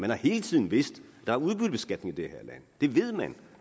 har hele tiden vidst at der er udbyttebeskatning i det land det ved man